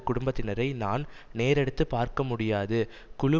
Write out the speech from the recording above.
குடும்பத்தினரை நான் நேரெடுத்துப் பார்க்கமுடியாது குழு